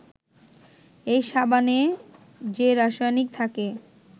এই সাবানে যে রাসায়নিক থাকে